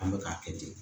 An bɛ k'a kɛ ten